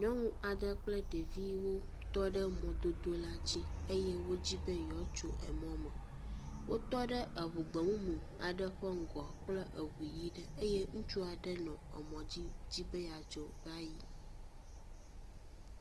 Nyɔnu aɖe kple ɖeviwo tɔ ɖe mɔdodo la dzi eye wodzi be yewoatso emɔ me, wotɔ ɖe eŋu gbemumu aɖe ŋgɔ kple eŋu yi ɖe eye ŋutsua nɔ emɔ dzi dzi be dzo va yi